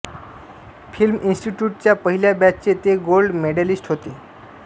film इन्स्टिट्यूटच्या पहिल्या बॅचचे ते गोल्ड मेडॅलिस्ट होते